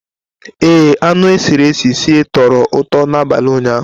Ee, anụ e siri sie tọrọ ụtọ n'abalị ụnyaahụ.